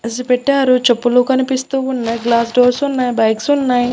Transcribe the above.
అస్ పెట్టారు చెప్పులు కనిపిస్తూ ఉన్నయ్ గ్లాస్ డోర్స్ ఉన్నయ్ బైక్స్ ఉన్నయ్.